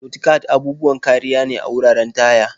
Mudguards' abubuwan kariya ne a wuraren taya.